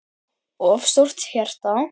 of stórt hjarta